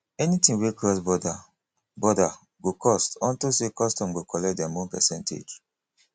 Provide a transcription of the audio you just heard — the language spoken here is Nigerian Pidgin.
anything wey cross border border go cost unto say custom go collect dem own percentage